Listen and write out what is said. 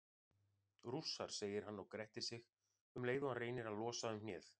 Rússar, segir hann og grettir sig um leið og hann reynir að losa um hnéð.